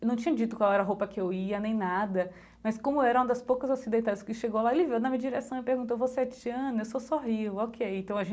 Eu não tinha dito qual era a roupa que eu ia nem nada, mas como era uma das poucas ocidentais que chegou lá, ele veio na minha direção e perguntou, você é Tiana, eu só sorrio, ok, então a